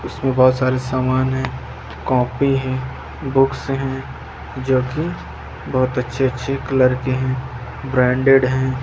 इसमें बहुत सारे सामान हैं कॉपी हैं बुक्स हैं जोकि बहोत अच्छे-अच्छे कलर के हैं ब्रांडेड हैं।